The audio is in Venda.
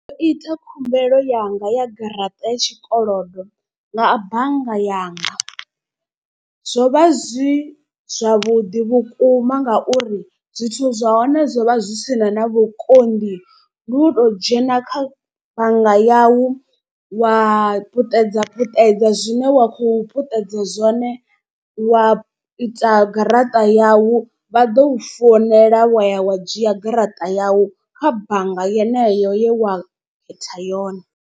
Ndo ita khumbelo yanga ya garaṱa ya tshikolodo nga bannga yanga. Zwo vha zwi zwavhuḓi vhukuma ngauri zwithu zwa hone zwo vha zwi sina na vhukoni, ndi u to dzhena kha bannga yau wa puṱedza puṱedza zwine wa khou puṱedza zwone. Wa ita garaṱa yau vha ḓo founela wa ya wa dzhia garaṱa yau kha bannga yeneyo ye wa khetha yone.